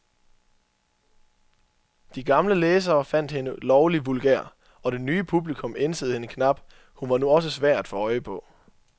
De gamle læsere fandt hende lovlig vulgær, og det nye publikum ænsede hende knap, hun var nu også svær at få øje på.